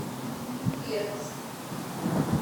бердск